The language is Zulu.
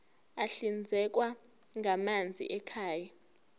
ahlinzekwa ngamanzi ekhaya